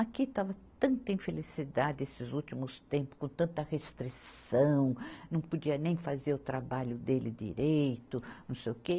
Aqui estava tanta infelicidade esses últimos tempos, com tanta restrição, não podia nem fazer o trabalho dele direito, não sei o quê.